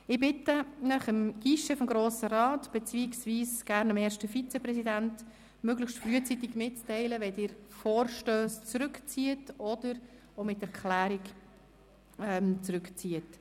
Ich bitte Sie, es möglichst frühzeitig dem Guichet des Grossen Rates beziehungsweise dem ersten Vizepräsidenten mitzuteilen, wenn Sie Vorstösse mit oder ohne Erklärung zurückziehen.